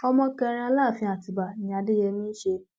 ọmọ kẹrin aláàfin àtibá ni adéyèmí í ṣe